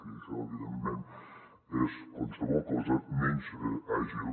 i això evidentment és qualsevol cosa menys àgil